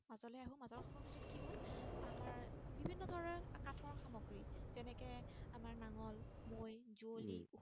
তেনেকে আমাৰ নাঙল মৈ যোৱলী উম